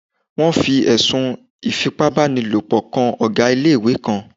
Wọ́n fi ẹ̀sùn Ìfipábánilòpọ̀ kan Ọ̀gá ilé-ìwé kan